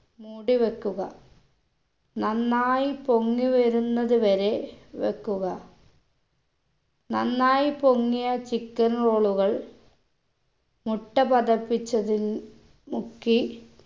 മൂടി വെക്കുക നന്നായി പൊങ്ങി വരുന്നത് വരെ വെക്കുക നന്നായി പൊങ്ങിയ chicken roll കൾ മുട്ട പതപ്പിച്ചതിൻ മുക്കി